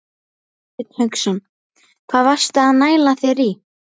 Hafsteinn Hauksson: Hvað varstu að næla þér í?